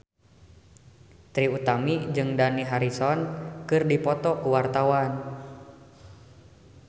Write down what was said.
Trie Utami jeung Dani Harrison keur dipoto ku wartawan